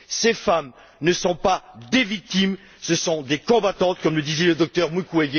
Ces femmes ne sont pas des victimes, ce sont des combattantes, comme le disait le docteur Mukwege.